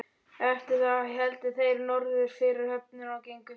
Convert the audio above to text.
Eftir það héldu þeir norður fyrir höfnina og gengu fjörur.